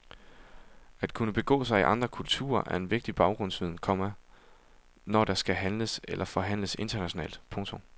At kunne begå sig i andre kulturer er en vigtig baggrundsviden, komma når der skal handles eller forhandles internationalt. punktum